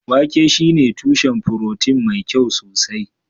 wake shine tushen furotin mai kyau sosai